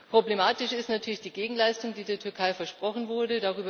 Problematisch ist natürlich die Gegenleistung, die der Türkei versprochen wurde.